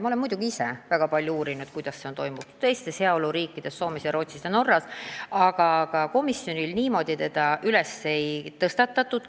Ma olen muidugi ise väga palju uurinud, kuidas on lood heaoluriikides Soomes, Rootsis ja Norras, aga komisjonis seda ei käsitletud.